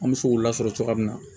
An bɛ se k'u lasɔrɔ cogoya min na